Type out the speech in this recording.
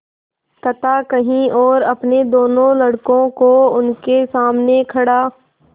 कथा कही और अपने दोनों लड़कों को उनके सामने खड़ा